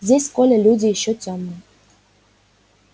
здесь коля люди ещё тёмные